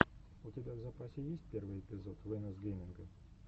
у тебя в запасе есть первый эпизод вэнос гейминга